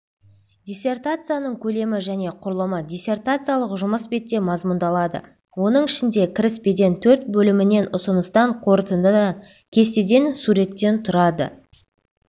диссертацияның көлемі және құрылымы диссертациялық жұмыс бетте мазмұндалады оның ішінде кіріспеден төрт бөлімнен ұсыныстан қорытындыдан кестеден суреттен тұрады